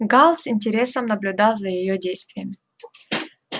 гаал с интересом наблюдал за его действиями